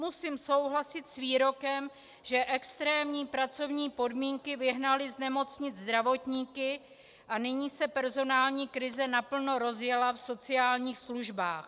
Musím souhlasit s výrokem, že extrémní pracovní podmínky vyhnaly z nemocnic zdravotníky a nyní se personální krize naplno rozjela v sociálních službách.